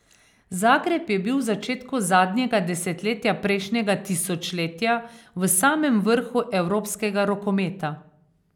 Zagreb je bil v začetku zadnjega desetletja prejšnjega tisočletja v samem vrhu evropskega rokometa.